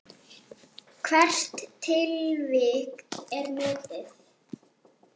Hvert tilvik er metið.